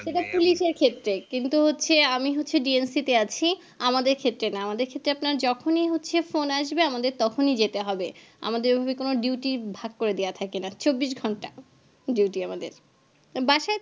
এটা police এর ক্ষেত্রে কিন্তু আমি হচ্ছে D N C তে আছি আমাদের ক্ষেত্রে না আমাদের ক্ষেত্রে আপনার যখনি হচ্ছে phone আসবে তখনি যেতে হবে আমাদের ওইভাবে কোনো duty ভাগ করে দেওয়া থাকে না চব্বিশ ঘন্টা duty আমাদের বাসায়